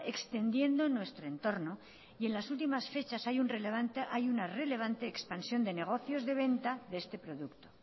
extendiendo en nuestro entorno y en las últimas fechas hay una relevante expansión de negocios de venta de este producto